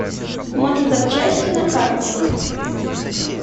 мотозапчасти на карте